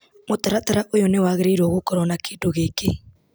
Mũtaratara ũyũ nĩwagĩrĩirwo gũkorwo na kĩndũ gĩkĩ.